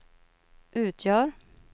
utgör